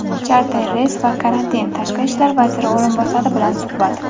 charter reys va karantin - Tashqi ishlar vaziri o‘rinbosari bilan suhbat.